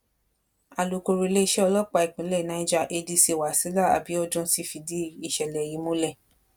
alūkọrọ iléeṣẹ ọlọpàá ìpínlẹ cs] niger adc wasila abiodun ti fìdí ìṣẹlẹ yìí múlẹ